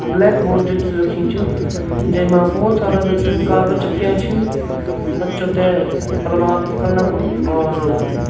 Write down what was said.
black board जो च रखीं च जैमा भौत सारा जू छन कागज चिपकया छिन बच्चो ते प्रभावित करणा खुन और --